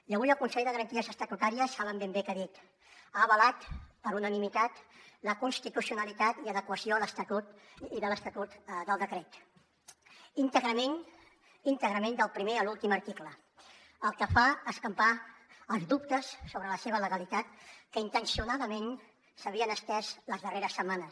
i avui el consell de garanties estatutàries saben ben bé què ha dit ha avalat per unanimitat la constitucionalitat i adequació a l’estatut del decret íntegrament íntegrament del primer a l’últim article cosa que fa escampar els dubtes sobre la seva legalitat que intencionadament s’havien estès les darreres setmanes